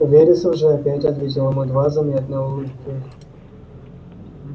вересов же опять ответил ему едва заметной улыбкой